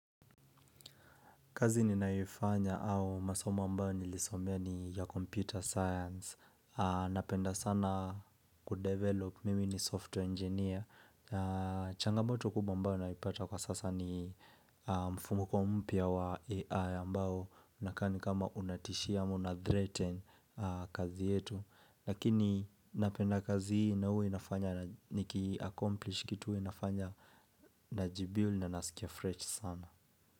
Kazi ninayoifanya au masoma ambao nilisombea ni ya computer science. Napenda sana kudevelop mimi ni software engineer. Changamoto kubwa ambayo naipata kwa sasa ni mfumko mpya wa AI ambao. Unakaa ni kama unatishia ama una threaten kazi yetu. Lakini napenda kazi hii na hua inafanya niki accomplish kitu hua nafanya naji build na nasikia fresh sana.